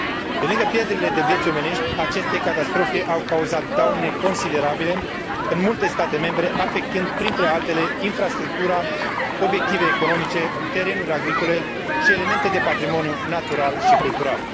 Pe lângă pierderile de vieți omenești, aceste catastrofe au cauzat daune considerabile în multe state membre, afectând, printre altele, infrastructura, obiective economice, terenuri agricole și elemente de patrimoniu natural și cultural.